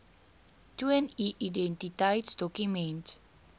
toon u identiteitsdokument